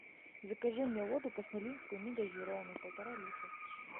закажи мне воду касмалинскую негазированную полтора литра